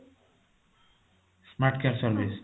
smart care service